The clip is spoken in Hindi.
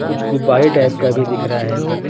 कुछ गुब्बारे टाइप का भी दिख रहा है।